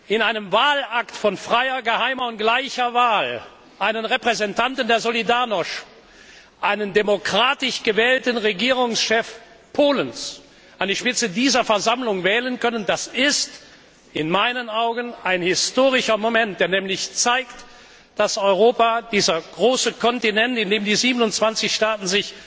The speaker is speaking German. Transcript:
in einem Wahlakt von freier, geheimer und gleicher Wahl einen Repräsentanten der Solidarnośź, einen demokratisch gewählten Regierungschef Polens an die Spitze dieser Versammlung wählen können, das ist in meinen Augen ein historischer Moment, der beweist, dass Europa dieser große Kontinent, in dem sich 27 Staaten